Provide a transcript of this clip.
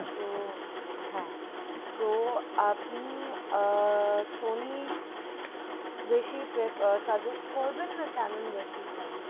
তো হ্যাঁ তো আপনি আহ সনি বেশি প্রে suggest না কি ক্যানেন বেশি সাজেস